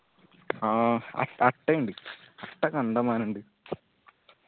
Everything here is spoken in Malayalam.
ആ അട്ട് അട്ട ഇണ്ട് അട്ട കണ്ടമാനം ഇണ്ട്